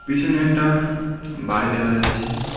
পিছনে একটা বাড়ি দেখা যাচ্ছে।